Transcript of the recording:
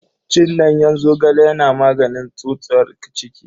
Cin danyen zogale yana maganin tsutsar ciki.